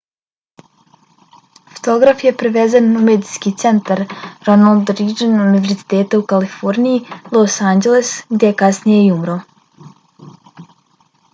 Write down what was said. fotograf je prevezen u medicinski centar ronald reagan univerziteta u kaliforniji los anđeles, gdje je kasnije i umro